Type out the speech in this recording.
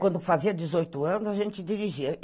Quando eu fazia dezoito anos, a gente dirigia.